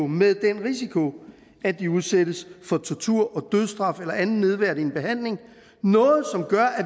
med den risiko at de udsættes for tortur og dødsstraf eller anden nedværdigende behandling noget som gør at